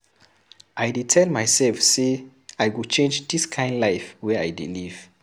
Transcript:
I dey tell mysef sey I go change dis kain life wey I dey live.